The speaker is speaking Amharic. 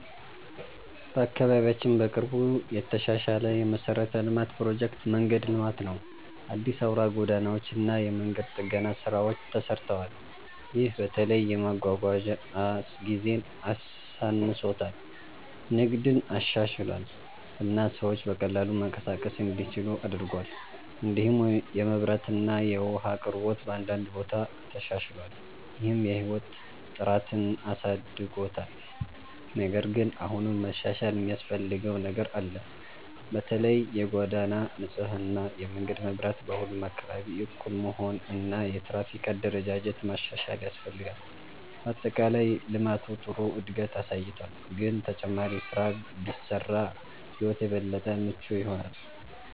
በአካባቢያችን በቅርቡ የተሻሻለ የመሠረተ ልማት ፕሮጀክት መንገድ ልማት ነው። አዲስ አውራ ጎዳናዎች እና የመንገድ ጥገና ስራዎች ተሰርተዋል። ይህ በተለይ የመጓጓዣ ጊዜን አሳንሶታል፣ ንግድን አሻሽሏል እና ሰዎች በቀላሉ መንቀሳቀስ እንዲችሉ አድርጓል። እንዲሁም የመብራት እና የውሃ አቅርቦት በአንዳንድ ቦታ ተሻሽሏል፣ ይህም የህይወት ጥራትን አሳድጎታል። ነገር ግን አሁንም መሻሻል የሚያስፈልገው ነገር አለ። በተለይ የጎዳና ንጽህና፣ የመንገድ መብራት በሁሉም አካባቢ እኩል መሆን እና የትራፊክ አደረጃጀት ማሻሻል ያስፈልጋል። በአጠቃላይ ልማቱ ጥሩ እድገት አሳይቷል፣ ግን ተጨማሪ ስራ ቢሰራ ሕይወት የበለጠ ምቹ ይሆናል።